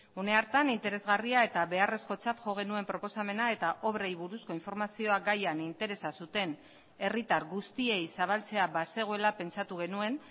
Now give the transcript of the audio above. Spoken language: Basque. une hartan interesgarria eta beharrezkotzat jo genuen proposamena eta obrei buruzko informazioa gaian interesa zuten herritar guztiei zabaltzea bazegoela pentsatu genuen